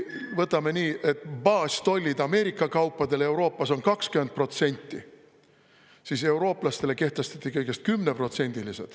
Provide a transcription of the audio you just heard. Võtame nii, et baastollid Ameerika kaupadele Euroopas on 20%, eurooplastele kehtestati kõigest 10%-lised.